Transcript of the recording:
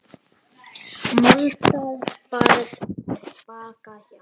Moldar barð er Bakka hjá.